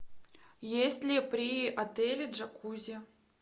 есть ли при отеле джакузи